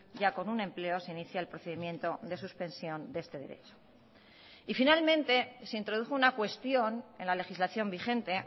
ya con un empleo se inicia el procedimiento de suspensión de este derecho y finalmente se introdujo una cuestión en la legislación vigente